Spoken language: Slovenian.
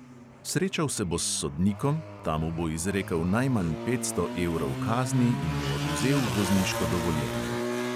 Srečal se bo s sodnikom, ta mu bo izrekel najmanj petsto evrov kazni in mu odvzel vozniško dovoljenje.